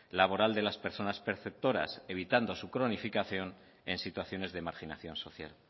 laboral de las personas perceptoras evitando su cronificación en situaciones de marginación social